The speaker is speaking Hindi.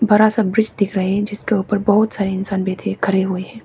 बड़ा सा ब्रिज दिख रहे हैं जिसके ऊपर बहुत सारे इंसान बैठे खड़े हुए है।